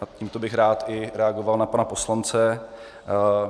A tímto bych rád i reagoval na pana poslance.